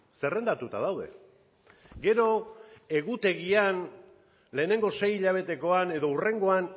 zerrendatuta daude gero egutegian lehenengo sei hilabetekoan edo hurrengoan